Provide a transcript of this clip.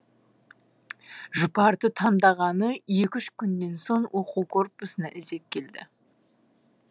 жұпарды таңдағаны екі үш күннен соң оқу корпусына іздеп келді